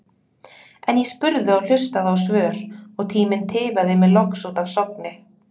En ég spurði og hlustaði á svör og tíminn tifaði mig loks út af Sogni.